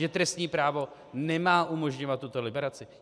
Že trestní právo nemá umožňovat tuto liberaci?